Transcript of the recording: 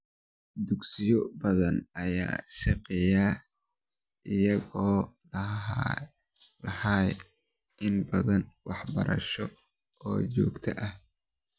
Dugsiyo badan ayaa shaqeeya iyagoon lahayn nidaam waxbarasho oo joogto ah.